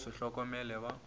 ke go se hlokomele ba